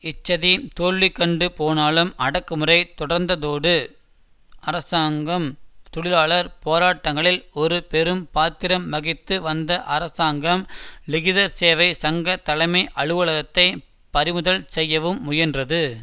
இச்சதி தோல்வி கண்டு போனாலும் அடக்குமுறை தொடர்ந்ததோடு அரசாங்கம் தொழிலாளர் போராட்டங்களில் ஒரு பெரும் பாத்திரம் வகித்து வந்த அரசாங்க லிகிதர் சேவை சங்க தலைமை அலுவலகத்தை பறிமுதல் செய்யவும் முயன்றது